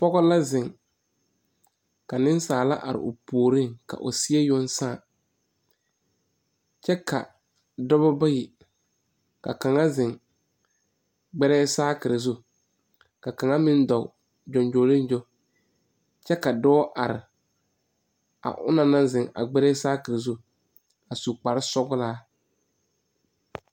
Pɔge la ziŋ ka niŋsaala are o puoreŋ ka o seɛ yoŋ saa. Dɔbɔ bayi beebe ka kaŋa ziŋ gbɛrɛɛ saakire zu kyɛ ka kaŋa dɔɔ gyoŋgyoliŋgyo. Dɔɔ are la a onaŋ naŋ ziŋ a gbɛrɛɛ saakire zu puoreŋ a su kparesɔglaa